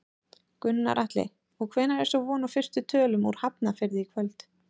Gunnar Atli: Og hvenær er svo von á fyrstu tölum úr Hafnarfirði í kvöld?